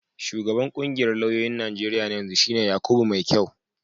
Shugaban ƙungiyar lauyoyin Najeriya na yanzu shi ne Yakubu Maikyau.